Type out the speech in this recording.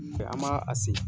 an ma a segin.